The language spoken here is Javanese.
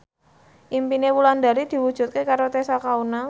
impine Wulandari diwujudke karo Tessa Kaunang